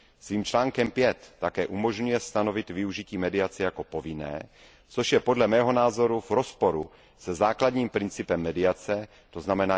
Svým článkem 5 také umožňuje stanovit využití mediace jako povinné, což je podle mého názoru v rozporu se základním principem mediace, tzn.